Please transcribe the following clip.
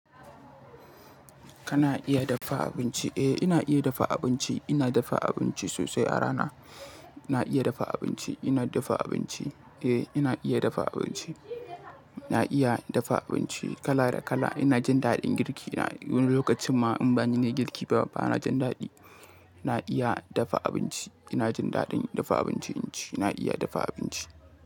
Kana iya dafa abinci? Eh ina iya dafa abinci, ina dafa abinci sosai a rana. Na iya dafa abinci, ina dafa abinci. Eh ina iya dafa abinci. Na iya dafa abinci kala da kala. Ina jin daɗin girki. Wani lokacin ma in bani nayi girki ba, ba ina jin daɗi. Na iya dafa abinci. Ina jin daɗin dafa abinci, ina iya dafa abinci.